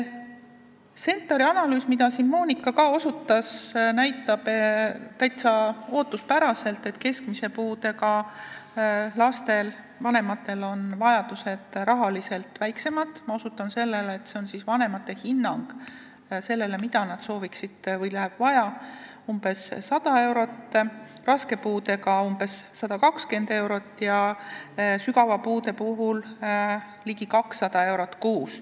CentAR-i analüüs, millele ka Monika osutas, näitab täitsa ootuspäraselt, et keskmise puudega laste vanematel on rahalised vajadused väiksemad , neil on vaja umbes 100 eurot, raske puudega lapse puhul on vaja umbes 120 eurot ja sügava puudega lapse puhul ligi 200 eurot kuus.